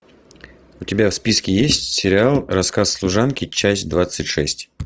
у тебя в списке есть сериал рассказ служанки часть двадцать шесть